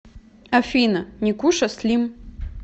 афина никуша слим